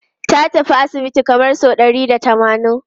Ta tafi asibiti kamar sau ɗari da tamanin.